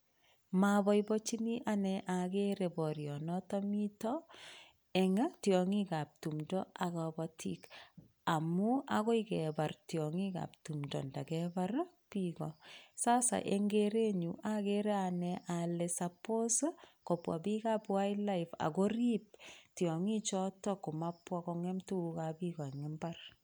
Moboiboenjini anee akere borionoton miton an tieonkik ab tumto ak kobotik amun akoi kebar tionkik ak tumto ndo kebarar kigoo sasa en kerenyun okere anee ale suppose kobwa bik ab wildlife akorib tiongik choton komabwa kongem tukuk ab bik en imbar.